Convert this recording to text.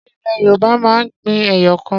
Ṣé ilẹ̀ Yorùbá máa ń gbin ẹyọ kan?